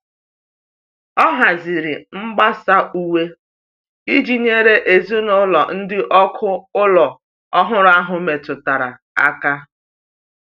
O haziri mgbasa uwe iji nyere ezinụlọ ndị ọkụ ụlọ ọhụrụ ahụ metụtara aka.